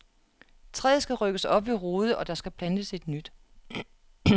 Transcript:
Træet skal rykkes op ved rode, og der skal plantes et ny.